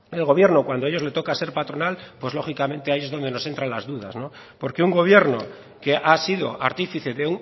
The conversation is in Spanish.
el gobierno cuando a ellos le toca ser patronal pues lógicamente ahí es donde nos entran las dudas porque un gobierno que ha sido artífice de